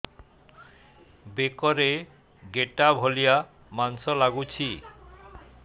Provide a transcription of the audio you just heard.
ବେକରେ ଗେଟା ଭଳିଆ ମାଂସ ଲାଗୁଚି